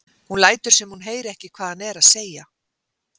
Hún lætur sem hún heyri ekki hvað hann er að segja.